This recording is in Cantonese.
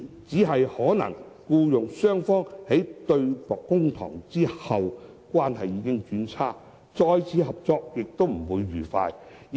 只是僱傭雙方一旦對簿公堂，關係可能已經轉差，再次合作亦不會愉快。